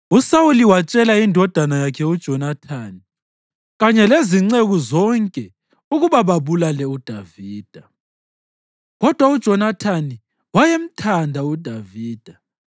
USawuli watshela indodana yakhe uJonathani kanye lezinceku zonke ukuba babulale uDavida. Kodwa uJonathani wayemthanda uDavida